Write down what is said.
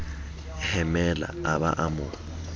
hemela a ba a mo